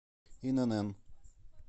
инн